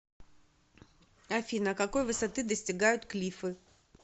афина какой высоты достигают клиффы